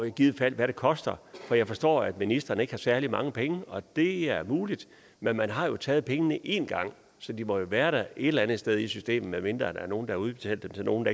i givet fald hvad det koster jeg forstår at ministeren ikke har særlig mange penge og det er muligt men man har taget pengene én gang så de må jo være der et eller andet sted i systemet medmindre der er nogen der har udbetalt dem til nogen